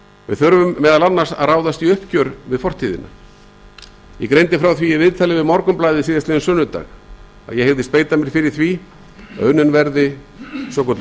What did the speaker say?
við þurfum meðal annars að ráðast í uppgjör við fortíðina ég greindi frá því í viðtali við morgunblaðið á sunnudaginn að ég mun beita mér fyrir því að unnin verði svokölluð